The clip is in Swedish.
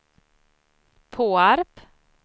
Påarp